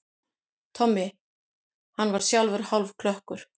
Tommi, hann var sjálfur hálfklökkur.